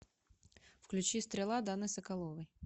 включи стрела даны соколовой